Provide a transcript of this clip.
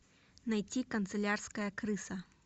найти канцелярская крыса